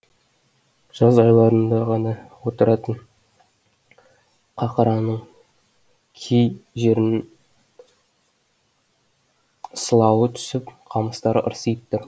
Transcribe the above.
жаз айларында ғана отыратын қақыраның кей жерінін сылауы түсіп қамыстары ырсиып тұр